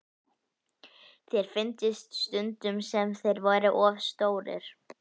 Sér fyndist stundum sem þeir væru of stórir.